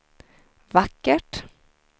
vackert